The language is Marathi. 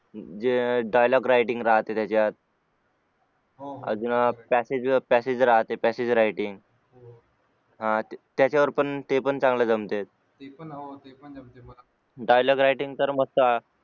जे dialogue writing राहते त्याच्यात अजून passage राहते passage writing त्याच्यावर पण ते पण चांगलं जमते dialogue writing तर मस्त